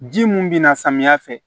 Ji mun bi na samiya fɛ